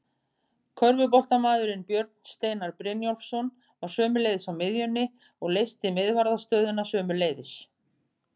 Körfuboltamaðurinn Björn Steinar Brynjólfsson var sömuleiðis á miðjunni og leysti miðvarðarstöðuna sömuleiðis.